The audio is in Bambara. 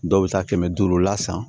Dɔw bɛ taa kɛmɛ duuru la san